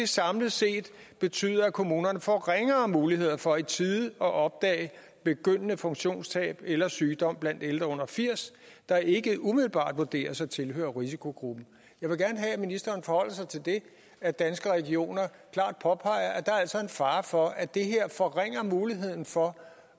samlet set betyder at kommunerne får ringere muligheder for i tide at opdage begyndende funktionstab eller sygdom blandt ældre under firs der ikke umiddelbart vurderes at tilhøre risikogruppen jeg vil gerne have at ministeren forholder sig til det at danske regioner klart påpeger at der altså er en fare for at det her forringer muligheden for